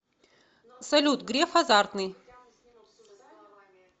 салют греф азартный